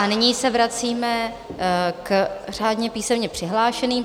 A nyní se vracíme k řádně písemně přihlášeným.